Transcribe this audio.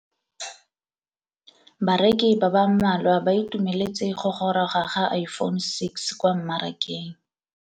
Bareki ba ba malwa ba ituemeletse go gôrôga ga Iphone6 kwa mmarakeng.